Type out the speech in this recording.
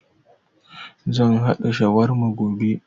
Zan haɗa shawarma gobe